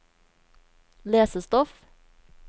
lesestoff